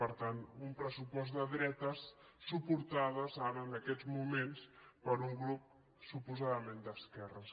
per tant un pressupost de dre·tes suportades ara en aquests moments per un grup suposadament d’esquerres